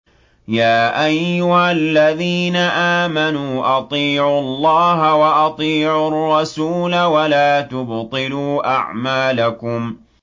۞ يَا أَيُّهَا الَّذِينَ آمَنُوا أَطِيعُوا اللَّهَ وَأَطِيعُوا الرَّسُولَ وَلَا تُبْطِلُوا أَعْمَالَكُمْ